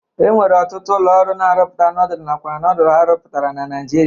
E nwere ọtụtụ ụlọ ọrụ na-arụpụta nodulu nakwa nodulu ha rụpụtara na Naịjirịa.